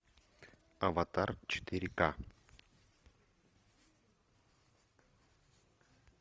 аватар четыре к